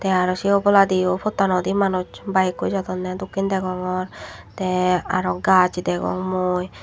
aro se obowladiyo pottanodi manuj bayekkoi jadonne dokken degongor te aro gajch degong mui.